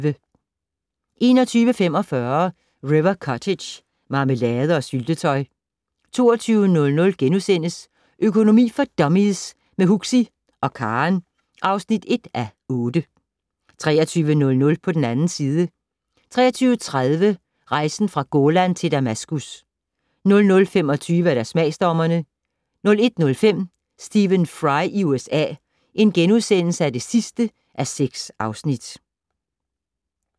21:45: River Cottage - marmelade og syltetøj 22:00: Økonomi for dummies - med Huxi (og Karen) (1:8)* 23:00: På den 2. side 23:30: Rejsen fra Golan til Damaskus 00:25: Smagsdommerne 01:05: Stephen Fry i USA (6:6)*